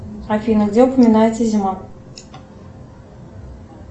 афина где упоминается зима